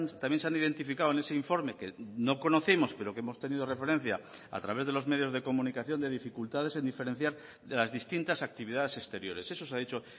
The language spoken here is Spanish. también se han identificado en ese informe que no conocemos pero que hemos tenido referencia a través de los medios de comunicación de dificultades en diferenciar de las distintas actividades exteriores eso se ha dicho